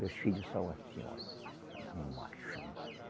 Meus filhos são assim, olha, cada machão.